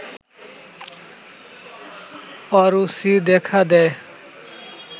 অরুচি দেখা দেয়